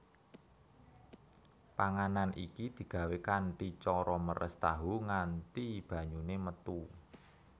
Panganan iki digawé kanthi cara meres tahu nganti banyune metu